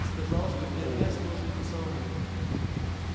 сказал что гермес нужен ему самому